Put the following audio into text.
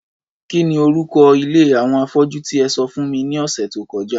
Kí ni orúko ilé àwọn afọ́jú tí e sọ fún mi ní ọ̀sẹ̀ tó kọjá?